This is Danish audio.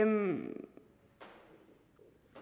en